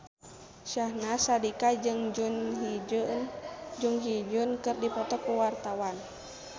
Syahnaz Sadiqah jeung Jun Ji Hyun keur dipoto ku wartawan